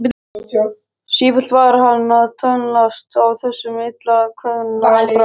Sífellt var hann að tönnlast á þessum illa kveðna brag.